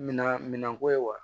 Mina minɛnko ye wa